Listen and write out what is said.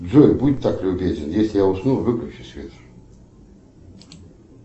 джой будь так любезен если я усну выключи свет